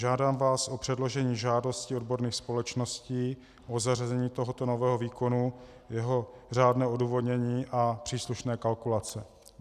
Žádám vás o předložení žádosti odborných společností o zařazení tohoto nového výkonu, jeho řádné odůvodnění a příslušné kalkulace.